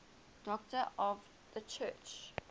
doctors of the church